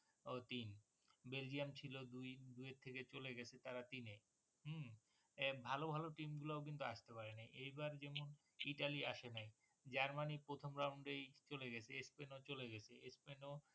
ও তিন বেলজিয়াম ছিল দুই দুইয়ের থেকে চলে গেছে তারা তিনে হম এ ভালো ভালো team গুলোয় কিন্তু আসতে পারে নি এইবার যেমন ইটালী আসে নাই, জার্মানি প্রথম রাউন্ডেই চলে গেছে স্পেন ও চলে গেছে স্পেন ও